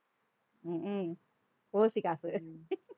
ஹம் உம் ஓசி காசு